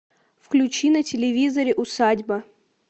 включи на телевизоре усадьба